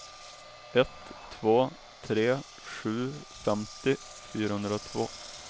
ett två tre sju femtio fyrahundratvå